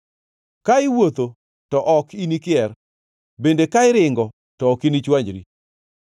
Ka iwuotho, to ok inikier bende ka iringo, to ok inichwanyri.